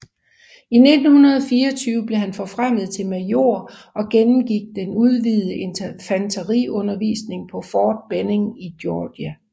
I 1924 blev han forfremmet til major og gennemgik den udvidede infanteriundervisning på Fort Benning i Georgia